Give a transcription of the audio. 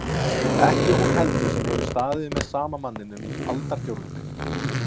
Ekki hún heldur sem hefur staðið með sama manninum í aldarfjórðung.